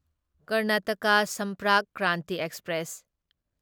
Karnataka Sampark Kranti express